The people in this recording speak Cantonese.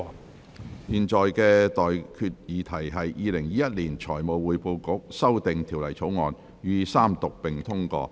我現在向各位提出的待議議題是：《2021年財務匯報局條例草案》予以三讀並通過。